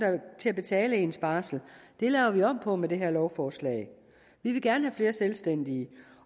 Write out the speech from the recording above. til at betale ens barsel det laver vi om på med det her lovforslag vi vil gerne have flere selvstændige